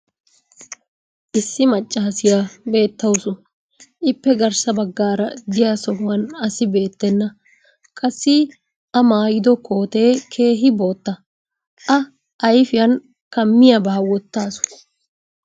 Issi macaassiya beetawusu. Ippe garssa bagaara diya sohuwan asi beetenna. Qassi a maayido kootee keehi bootta. A ayffiyan kammiyaabaa wotaasu.